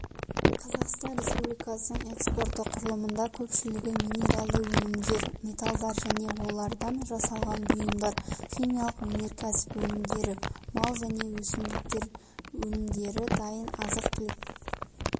қазақстан республикасының экспорты құрылымында көпшілігін минералды өнімдер металдар және олардан жасалған бұйымдар химиялық өнеркәсіп өнімдері мал және өсімдіктер өнімдері дайын азық-түлік